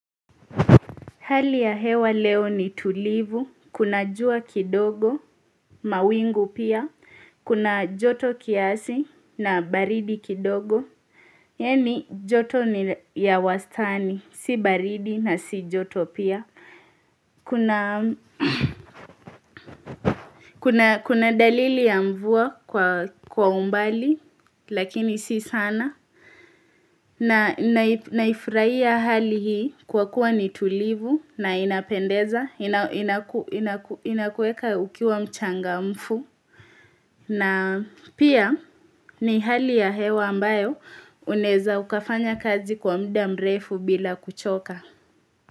Hali ya hewa leo ni tulivu, kuna jua kidogo, mawingu pia, kuna joto kiasi na baridi kidogo. Yaani joto ni ya wastani, si baridi na si joto pia. Kuna dalili ya mvua kwa umbali, lakini si sana. Na naifurahia hali hii kwa kuwa ni tulivu na inapendeza, inakuweka ukiwa mchangamfu. Na pia ni hali ya hewa ambayo unaweza ukafanya kazi kwa muda mrefu bila kuchoka.